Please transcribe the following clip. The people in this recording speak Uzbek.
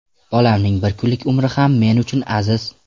Bolamning bir kunlik umri ham men uchun aziz.